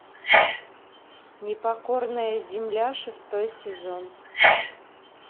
непокорная земля шестой сезон